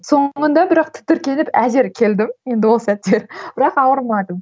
соңында бірақ тітіркеніп әзер келдім енді ол сәттер бірақ ауырмадым